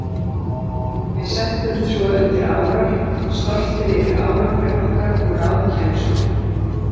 Við settumst svo undir árar, stoltir yfir árangri okkar og ráðkænsku.